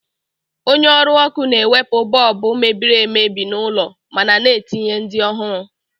Onye ọrụ ọkụ na-ewepu bọọbụ mebiri emebi n’ụlọ mana na-etinye ndị ọhụrụ.